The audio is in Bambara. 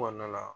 Kɔnɔna la